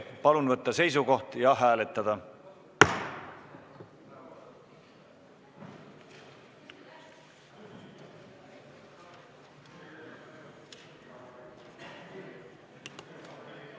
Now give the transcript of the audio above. Palun võtta seisukoht ja hääletada!